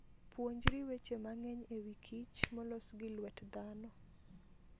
Puonjri weche mang'eny e wi kich molos gi lwet dhano.